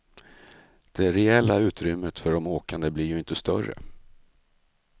Det reella utrymmet för de åkande blir ju inte större.